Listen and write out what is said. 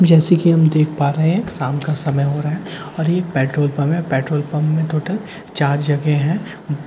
जैसे कि हम देख पा रहे हैं एक शाम का समय हो रहा है और ये पेट्रोल पंप है पेट्रोल पंप में टोटल चार जगह हैं ऊं ।